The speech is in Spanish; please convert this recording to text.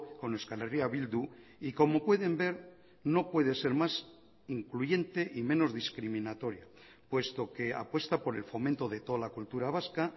con euskal herria bildu y como pueden ver no puede ser más incluyente y menos discriminatoria puesto que apuesta por el fomento de toda la cultura vasca